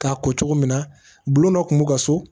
K'a ko cogo min na bulon dɔ kun b'u ka so